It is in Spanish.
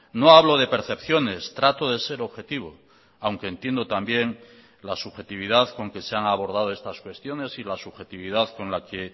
no hablo de percepciones trato de ser objetivo aunque entiendo también la subjetividad con que se han abordado estas cuestiones y la subjetividad con la que